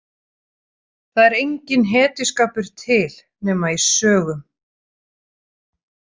Það er enginn hetjuskapur til nema í sögum.